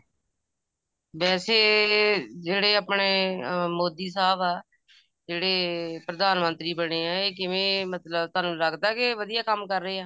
ਵੈਸੇ ਜਿਹੜੇ ਆਪਣੇ ਅਹ ਮੋਦੀ ਸਾਹਬ ਆ ਜਿਹੜੇ ਪ੍ਰਧਾਨ ਮੰਤਰੀ ਬਣੇ ਐ ਇਹ ਕਿਵੇਂ ਮਤਲਬ ਤੁਹਾਨੂੰ ਲੱਗਦਾ ਕੇ ਇਹ ਵਧੀਆਂ ਕੰਮ ਕਰ ਰਹੇ ਆ